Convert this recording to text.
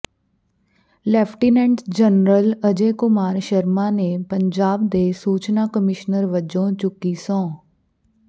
lieutenant general Ajay Kumar Sharma ਨੇ ਪੰਜਾਬ ਦੇ ਸੂਚਨਾ ਕਮਿਸ਼ਨਰ ਵਜੋਂ ਚੁੱਕੀ ਸਹੁੰ